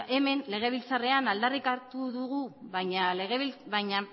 hemen legebiltzarrean aldarrikatu dugu baina